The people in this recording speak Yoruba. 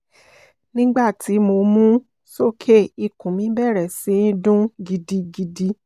nigbati mo mu u soke ikun mi bẹrẹ si dun gidigidi